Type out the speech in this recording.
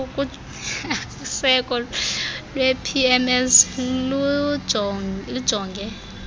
useko lwepimss lujonge